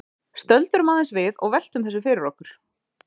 Stöldrum aðeins við og veltum þessu fyrir okkur.